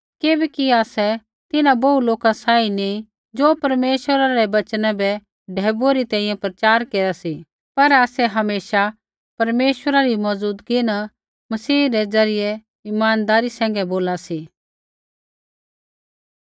किबैकि आसै तिन्हां बोहू लोका सांही नी ज़ो परमेश्वरै रै वचना बै ढैबुऐ री तैंईंयैं प्रचार केरा सी पर आसै हमेशा परमेश्वरा री मौज़ुदगी न मसीह द्वारा इमानदारी सैंघै बोला सी